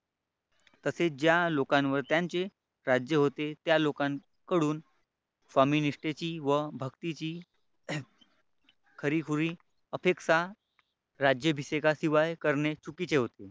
तसेच ज्या लोकांवर त्यांचे राज्य होते त्या लोकांकडून स्वामी निष्ठेची व भक्तीची खरी खरी अपेक्षा राज्याभिषेकाशिवाय करणे चुकीचे होते.